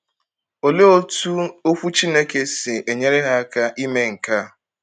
Olee otú Okwu Chineke si enyere ha aka ime nke a?